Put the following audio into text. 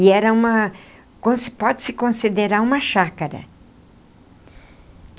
E era uma... pode-se considerar uma chácara.